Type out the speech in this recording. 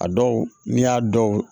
A dɔw n'i y'a dɔw